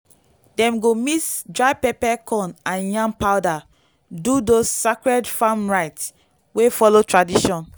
dem go mix dry pepper corn and yam powder do those sacred farm rites wey follow tradition.